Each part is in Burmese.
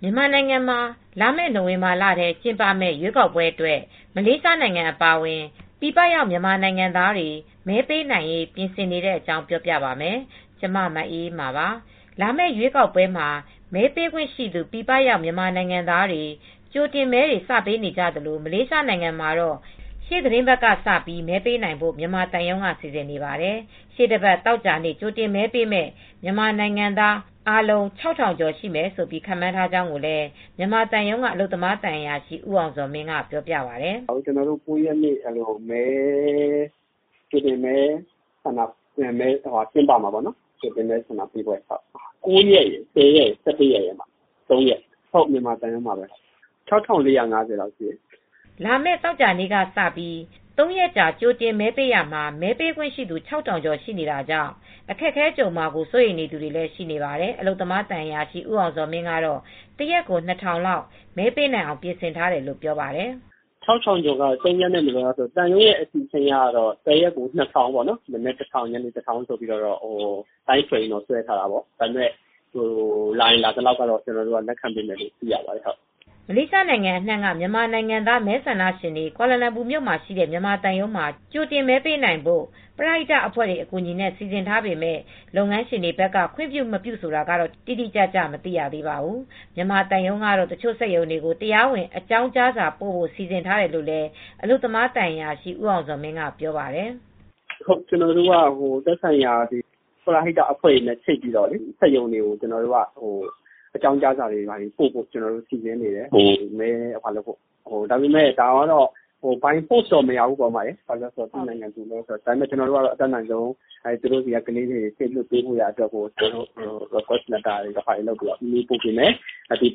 မြန်မာနိုင်ငံမှာ လာမယ့်နိုဝင်ဘာလထဲ ကျင်းပမယ့် ရွေးကောက်ပွဲအတွက် မလေးရှားနိုင်ငံ အပါအဝင် ပြည်ပရောက် မြန်မာနိုင်ငံသားတွေ မဲပေးနိုင်ရေး ပြင်ဆင်နေတဲ့အကြောင်းကို ဗွီအိုအေမြန်မာပိုင်းသတင်းထောက် မအေးအေးမာက ပြောပြပါမယ်။ လာမယ့်ရွေးကောက်ပွဲမှာ မဲပေးခွင့်ရှိသူ ပြည်ပရောက် မြန်မာနိုင်ငံသားတွေ ကြိုတင်မဲတွေ စပေးနေကြသလို မလေးရှားနိုင်ငံမှာတော့ ရှေ့သီတင်းပတ်ကစ မဲပေးနိုင်ဖို့ မြန်မာသံရုံးက စီစဉ်နေပါတယ်။ ရှေ့တပတ် သောကြာနေ့ ကြိုတင်မဲပေးမယ့် မြန်မာနိုင်ငံသား ၆,၀၀၀ ကျော်မယ်လို့ ခန့်မှန်းထားကြောင်းလည်း မြန်မာသံရုံးက အလုပ်သမားသံအရာရှိ ဦးအောင်ဇော်မင်း ကပြောပါတယ်။ "ကျနော်တို့ ၉ ရက်နေ့ ကြိုတင်မဲဆန္ဒပေးပွဲ ကျင်းပမှာပေါ့နော်။ ၉ ရက်ရယ်၊ ၁၀ ရယ်၊ ၁၁ရက်၊ ၃ ရက် ကျင်းပပါမယ်။ မြန်မာသံရုံးမှာပဲ။ မဲပေးမှာက ၆,၄၅၀ လောက်ရှိတယ်။" လာမယ့် သောကြာနေ့ကစ ၃ ရက်ကြာ ကြိုတင်မဲပေးရာမှာ မဲပေးခွင့်ရှိသူ ၆,၀၀၀ ကျော် ရှိနေတာကြောင့် အခက်အခဲ ကြုံရမှာကို စိုးရိမ်သူတွေလည်း ရှိနေပါတယ်။ အလုပ်သမားသံအရာရှိ ဦးအောင်ဇော်မင်းကတော့ တရက်ကို ၂,၀၀၀ လောက် မဲပေးနိုင်အောင် ပြင်ဆင်ထားတယ်လို့ ပြောပါတယ်။ "၆,၀၀၀ ကျော်ကတော့ ၃ ရက်နဲ့ဆိုတော့ သံရုံးရဲ့ အစီအစဉ်အရ တရက်ကို ၂,၀၀၀ ပေါ့နော် မနက် ၁,၀၀၀၊ ညနေ ၁,၀၀၀ ပေါ့။ အချိန်ဇယားတော့ ဆွဲထားတယ်။ ဒါပေမဲ့လာရင်လာသလောက်တော့ လက်ခံစီစဉ်ပေးမှာပေါ့နော်။" မလေးရှားနိုင်ငံအနှံ့က မြန်မာနိုင်ငံသား မဲဆန္ဒရှင်တွေ ကွာလာလမ်ပူမြို့မှာရှိတဲ့ မြန်မာသံရုံးမှာ ကြိုတင်မဲပေးနိုင်ဖို့ ပရဟိတ အဖွဲ့တွေ အကူအညီနဲ့ စီစဉ်ထားပေမဲ့ လုပ်ငန်းရှင်တွေက ခွင့်ပြု၊ မပြုဆိုတာကတော့ တိတိကျကျ မသိရပါဘူး။ မြန်မာသံရုံးကတော့ တချို့စက်ရုံတွေကို တရားဝင် အကြောင်းကြားဖိ့ု စီစဉ်ထားတယ်လို့ အလုပ်သမားသံအရာရှိ ဦးအောင်ဇော်မင်းက ပြောပါတယ်။ "ကျနော်တို့က သက်ဆိုင်ရာပရဟိတအဖွဲတွေနဲ့ ချိတ်ဆက်ပြီး စက်ရုံတွေကို အကြောင်းကြားစာတွေကို ပို့ဖို့ စီစဉ်နေတယ်။ ဒါပေမဲ့ အတင်းအကြပ်ဆိုတာမျိုးတော့ မရဘူး။ သူ့နိုင်ငံနဲ့ သူတို့ဆိုတော့ ဒါပေမဲ့ ကျနော်တို့က သူတို့ဆီက အလုပ်သမားတွေ စေလွှတ်ဖို့ မေတ္တာရပ်ခံတဲ့စာတွေ ပို့ပေးမယ်။ ပရိဟိ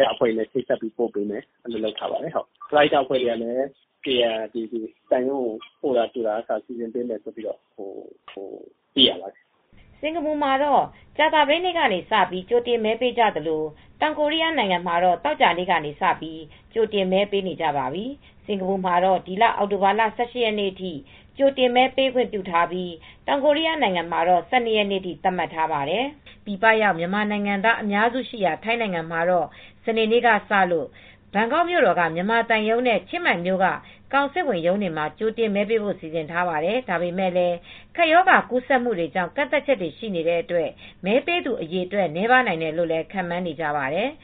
တအဖွဲ့တွေကလည်း ပို့တာကြိုတာမျိုးတွေ လုပ်ပေးမယ်ပြောပါတယ်။" စင်္ကာပူမှာ ကြာသပတေးနေ့စပြီး ကြိုတင်မဲပေးနေကြသလို တောင်ကိုရီးယားနိုင်ငံမှာတော့ သောကြာနေ့ ကြိုတင်မဲတွေ ပေးနေကြပါပြီ။ စင်္ကာပူမှာတော့ ဒီလ အောက်တိုဘာ ၁၈ ရက်နေ့အထိ ကြိုတင်မဲပေးခွင့်ပြုထားပြီး တောင်ကိုရီးယားနိုင်ငံမှာတော့ ၁၂ ရက်နေ့အထိ သတ်မှတ်ထားပါတယ်။ ပြည်ပရောက် မြန်မာနိုင်ငံသား အများစုရှိရာ ထိုင်းနိုင်ငံမှာတော့ စနေနေ့ကစ ဘန်ကောက်မြို့တော်က မြန်မာသံရုံးနဲ့ ချင်းမိုင်မြို့က ကောင်စစ်ဝန်ရုံးတွေမှာ ကြိုတင်မဲပေးဖို့ စီစဉ်ထားပါတယ်။ ဒါပေမဲ့လည်း ကပ်ရောဂါကူးစက်မှုတွေကြောင့် ကန့်သတ်ချက်တွေ ရှိနေတဲ့အတွက် မဲပေးသူ အရေအတွက် နည်းပါးနိုင်တယ်လို့လည်း ခန့်မှန်းနေကြပါတယ်။